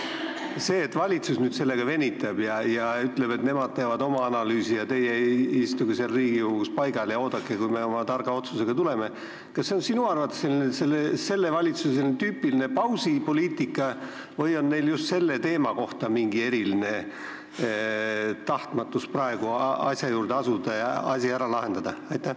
Kas see, et valitsus nüüd sellega venitab ja ütleb, et nemad teevad oma analüüsi ja teie istuge seal Riigikogus paigal ja oodake, kuni meie oma targa otsusega tuleme, on sinu arvates sellele valitsusele tüüpiline pausipoliitika või on neil just selle teemaga tegelemisel mingi eriline tahtmatus asja juurde asuda ja asi ära lahendada?